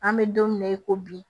An bɛ don min na i ko bi